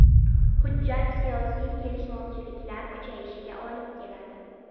Hujjat siyosiy kelishmovchiliklar kuchayishiga olib keladi.